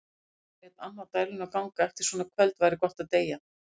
Á meðan lét amma dæluna ganga: Eftir svona kvöld væri gott að deyja.